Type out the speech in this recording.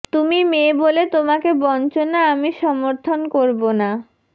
তুমি মেয়ে বলে তোমাকে বঞ্চনা আমি সমর্থন করব না